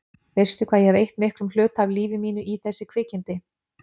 Veistu hvað ég hef eytt miklum hluta af lífi mínu í þessi kvikindi?